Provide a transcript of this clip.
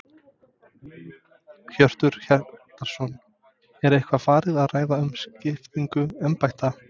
Hjörtur Hjartarson: Er eitthvað farið að ræða um skiptingu embætta?